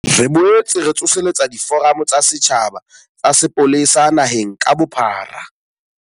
Re boetse re tsoseletsa diforamo tsa setjhaba tsa sepolesa naheng ka bophara.